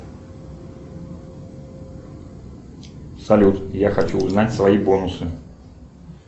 салют я хочу узнать свои бонусы